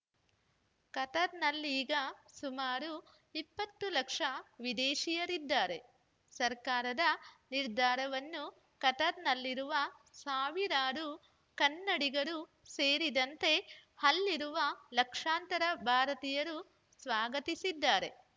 ಕತಾರ್‌ನಲ್ಲೀಗ ಸುಮಾರು ಇಪ್ಪತ್ತು ಲಕ್ಷ ವಿದೇಶೀಯರಿದ್ದಾರೆ ಸರ್ಕಾರದ ನಿರ್ಧಾರವನ್ನು ಕತಾರ್‌ನಲ್ಲಿರುವ ಸಾವಿರಾರು ಕನ್ನಡಿಗರು ಸೇರಿದಂತೆ ಅಲ್ಲಿರುವ ಲಕ್ಷಾಂತರ ಭಾರತೀಯರು ಸ್ವಾಗತಿಸಿದ್ದಾರೆ